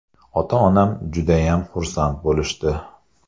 Ota-onam judayam xursand bo‘lishdi.